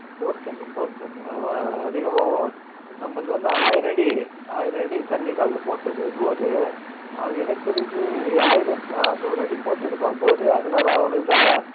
bore தண்ணி bore தண்ணி அதா அதுவே நம்மளுது வது ஆயிரம் அடி, ஆயிரம் அடி தண்ணிக்காக போட்டது bore ரூ அவன் என்னக்கு தெரிஞ்சு ஆயிரத்தி அறநூறு அடி போட்டுருப்பான் bore உ அதனால அவனுக்குத்தா